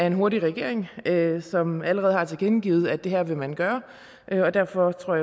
en hurtig regering som allerede har tilkendegivet at det her vil man gøre derfor tror